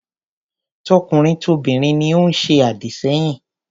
Tokunrin tobinrin ni ó ń se àdìsẹ́yìn.